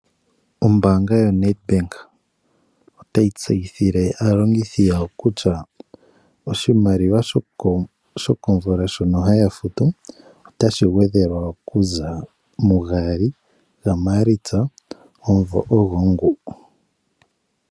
Ombaanga yoNedbank otayi tseyithile aalongithi yawo kutya oshimaliwa shokomvula shono haya futu otashi gwedhelwa okuza mu 02 Maalitsa 2026.